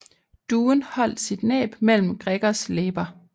Duen holdt sit næb mellem Gregors læber